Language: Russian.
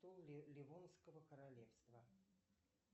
ливонского королевства